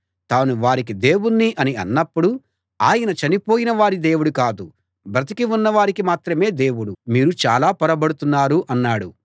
తాను వారికి దేవుణ్ణి అని అన్నప్పుడు ఆయన చనిపోయిన వారి దేవుడు కాదు బ్రతికి ఉన్నవారికి మాత్రమే దేవుడు మీరు చాలా పొరబడుతున్నారు అన్నాడు